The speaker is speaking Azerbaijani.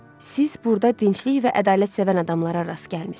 Siz burda dinclik və ədalətsəvən adamlara rast gəlmisiz.